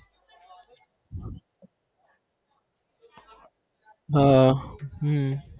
હા હમ